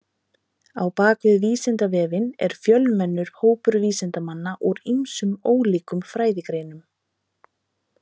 Á bak við Vísindavefinn er fjölmennur hópur vísindamanna úr ýmsum ólíkum fræðigreinum.